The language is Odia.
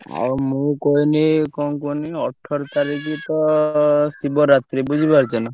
ଆଉ ମୁଁ କଇନି କଣ କୁହନୀ ଅଠର୍ ତାରିଖ୍ ତ ଶିବରାତ୍ରୀ ବୁଝିପାରୁଛ ନା।